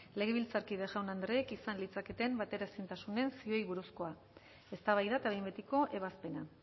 legebiltzarkide jaun andreek izan litzaketen bateraezintasunen zioei buruzkoa eztabaida eta behin betiko ebazpena